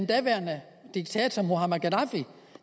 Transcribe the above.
daværende diktator muammar gaddafi